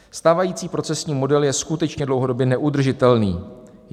Stávající procesní model je skutečně dlouhodobě neudržitelný.